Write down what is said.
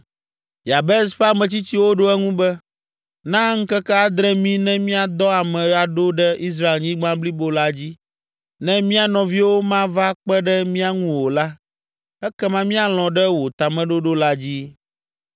Yabes ƒe ametsitsiwo ɖo eŋu be, “Na ŋkeke adre mí ne míadɔ ame aɖo ɖe Israelnyigba blibo la dzi. Ne mía nɔviwo mava kpe ɖe mía ŋu o la, ekama míalɔ̃ ɖe wò tameɖoɖo la dzi.”